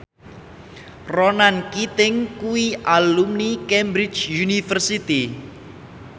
Ronan Keating kuwi alumni Cambridge University